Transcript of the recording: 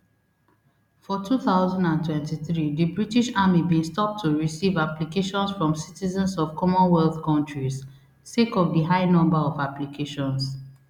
for two thousand and twenty-three di british army bin stop to receive applications from citizens of commonwealth kontris sake of di high number of applications